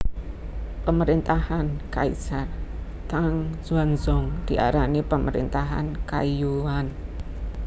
Pemerintahan Kaisar Tang Xuanzong diarani Pemerintahan Kaiyuan